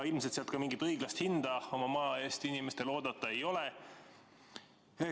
Ilmselt sealt mingit õiglast hinda oma maa eest inimestel oodata ei ole.